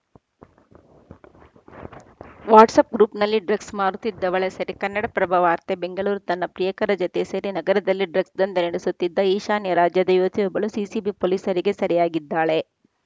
WhatsApp ಗ್ರೂಪ್‌ನಲ್ಲಿ drugs ಮಾರುತ್ತಿದ್ದವಳ ಸೆರೆ ಕನ್ನಡಪ್ರಭ ವಾರ್ತೆ ಬೆಂಗಳೂರು ತನ್ನ ಪ್ರಿಯಕರ ಜತೆ ಸೇರಿ ನಗರದಲ್ಲಿ ಡ್ರಗ್ಸ್‌ ದಂಧೆ ನಡೆಸುತ್ತಿದ್ದ ಈಶಾನ್ಯ ರಾಜ್ಯದ ಯುವತಿಯೊಬ್ಬಳು ಸಿಸಿಬಿ ಪೊಲೀಸರಿಗೆ ಸೆರೆಯಾಗಿದ್ದಾಳೆ